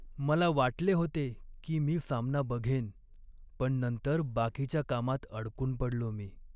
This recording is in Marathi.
मला वाटले होते की मी सामना बघेन पण नंतर बाकीच्या कामात अडकून पडलो मी.